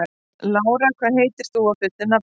Lára, hvað heitir þú fullu nafni?